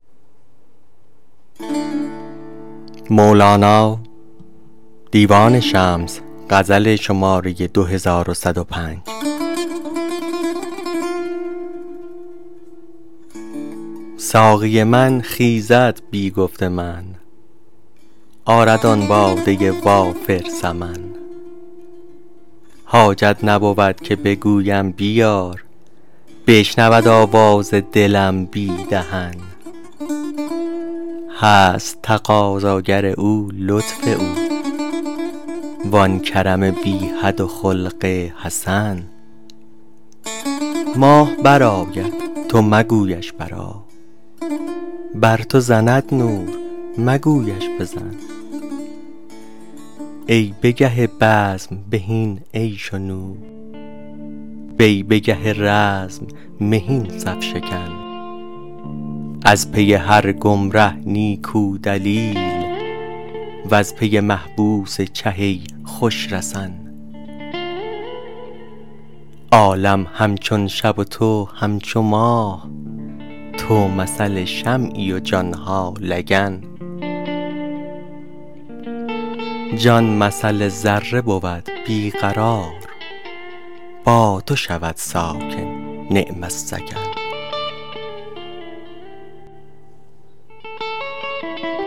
ساقی من خیزد بی گفت من آرد آن باده وافر ثمن حاجت نبود که بگویم بیار بشنود آواز دلم بی دهن هست تقاضاگر او لطف او و آن کرم بی حد و خلق حسن ماه برآید تو مگویش برآ بر تو زند نور مگویش بزن ای به گه بزم بهین عیش و نوش وی به گه رزم مهین صف شکن از پی هر گمره نیکو دلیل وز پی محبوس چه ای خوش رسن عالم همچون شب و تو همچو ماه تو مثل شمعی و جان ها لگن جان مثل ذره بود بی قرار با تو شود ساکن نعم السکن